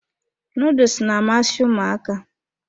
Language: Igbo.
Nuduls na-amasị ụmụaka.